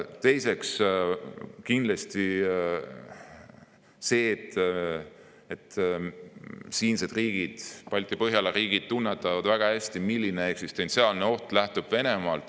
Teiseks, kindlasti see, et siinsed riigid, Balti-Põhjala riigid tunnetavad väga hästi, milline eksistentsiaalne oht lähtub Venemaalt.